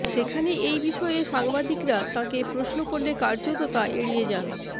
সেখানে এই বিষয়ে সাংবাদিকরা তাঁকে প্রশ্ন করলে কার্যত তা এড়িয়ে যান